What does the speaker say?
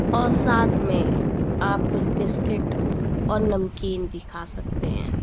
और साथ में आप कुछ बिस्किट और नमकीन भी खा सकते हैं।